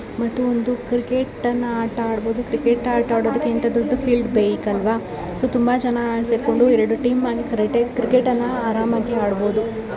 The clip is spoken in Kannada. ಮತ್ತು ಒಂದು ಕ್ರಿಕೆಟ್ ಅನ್ನ ಆಟ ಆಡಬಹುದು ಕ್ರಿಕೆಟ್ ಆಟ ಆಡಕೆ ಇಂತದೊಂದು ಫೀಲ್ಡ್ ಬೇಕಲ್ವಾ ಸೊ ತುಂಬಾ ಜನ ಸೇರ್ಕೊಂಡು ಎರಡು ಟೀಮ್ ಮಾಡಿ ಕ್ರಿಕೆಟ್ ಕ್ರಿಕೆಟ್ ಅನ್ನ ಆರಾಮಾಗಿ ಆಡಬೋದು.